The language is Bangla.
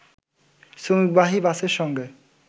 শ্রমিকবাহী বাসের সঙ্গে